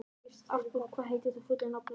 Artúr, hvað heitir þú fullu nafni?